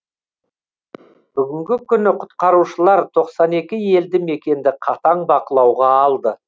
бүгінгі күні құтқарушылар тоқсан екі елді мекенді қатаң бақылауға алды